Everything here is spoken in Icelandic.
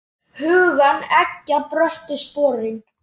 Hugann eggja bröttu sporin.